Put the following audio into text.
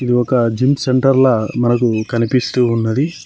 ఇది ఒక జిమ్ సెంటర్ల మనకు కనిపిస్తూ ఉన్నది.